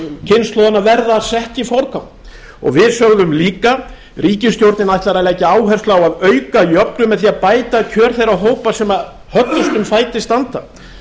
kynslóðanna verða beitt í forgang við sögðum líka ríkisstjórnin ætlar að leggja áherslu á að auka jöfnuð með því að bæta kjör þeirra hópa sem höllustum fæti standa